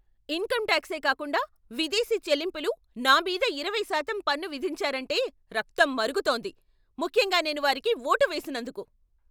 Income టాక్సే కాకుండా విదేశీ చెల్లింపుల నా మీద ఇరవై శాతం పన్ను విధించారంటే రక్తం మరుగుతోంది, ముఖ్యంగా నేను వారికి ఓటు వేసినందుకు.